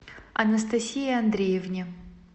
анастасии андреевне